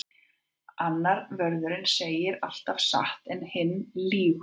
Annar vörðurinn segir alltaf satt en hinn lýgur alltaf.